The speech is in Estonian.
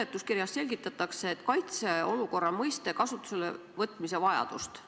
Seletuskirjas selgitatakse kaitseolukorra mõiste kasutusele võtmise vajadust.